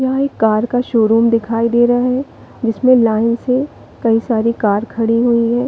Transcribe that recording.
यह कार का शोरूम दिखाई दे रहा है जिसमें लाइन से कई सारे कार खड़े है।